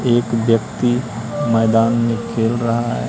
एक व्यक्ति मैदान में खेल रहा है।